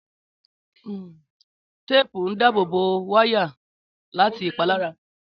Téèpù ń dábò bó wáyà láti ìpalára